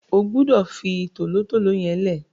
O gbúdọ̀ fi tòlótòló yẹn lẹ́ẹ̀!